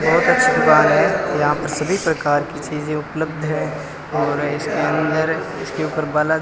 बहोत अच्छी दुकान है यहां पे सभी प्रकार की चीजे उपलब्ध है और इसके अंदर इसके ऊपर बाला--